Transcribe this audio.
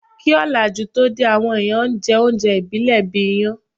Kí òlàjú tó dé, àwọn èèyàn n jẹ oúnjẹ ìbílẹ̀ bíi iyán